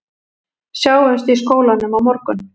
Sjáumst í skólanum á morgun